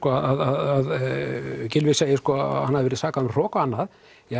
að Gylfi segir að hann hafi verið sakaður um hroka og annað